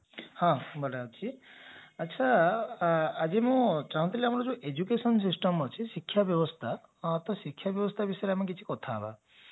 ହଁ ବଢିଆ ଅଛି ଆଚ୍ଛା ଆଜି ମୁଁ ଚାହୁଁଥିଲି ଆମର ଯୋଉ education system ଅଛି ଶିକ୍ଷା ବ୍ୟବସ୍ତା ହଁ ତ ଶିକ୍ଷା ବ୍ୟବସ୍ଥା ବିଷୟରେ ଆମେ କିଛି କଥା ହେବା